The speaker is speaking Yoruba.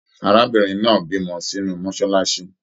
Arábìnrin náà bímọ sínú mọsálásí